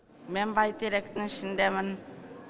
мен бәйтеректің ішіндемін